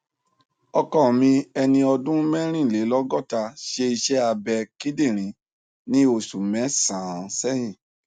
ọkọ mi ẹni ọdún mẹrìnlélọgọta ṣe iṣẹ abẹ kíndìnrín ní oṣù mẹsànán sẹyìn